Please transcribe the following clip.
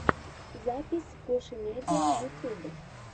запись гошимедиа ютуб